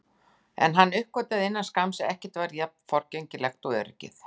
En hann uppgötvaði innan skamms að ekkert er jafn forgengilegt og öryggið.